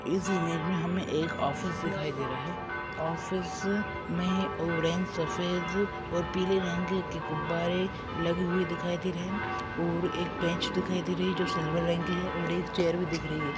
इस इमेज में हमें एक ऑफिस दिखाई दे रहा है ऑफिस में ऑरेंज सफेद और पीले रंग के गुब्बारे लगे हुए दिखाई दे रहे हैं और एक बेंच दिखाई दे रही है जो सिल्वर रंग की है और एक चेयर भी दिख रही है।